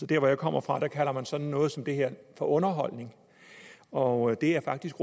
der hvor jeg kommer fra kalder man sådan noget som det her for underholdning og det er faktisk